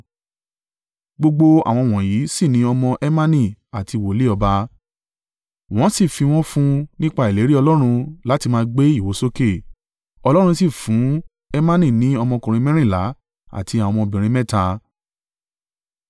Gbogbo àwọn wọ̀nyí sì ni ọmọ Hemani àti wòlíì ọba. Wọ́n sì fi wọ́n fún nípa ìlérí Ọlọ́run láti máa gbé ìwo sókè. Ọlọ́run sì fún Hemani ní ọmọkùnrin mẹ́rìnlá àti àwọn ọmọbìnrin mẹ́ta.